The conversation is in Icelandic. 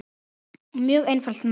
Mjög einfalt mál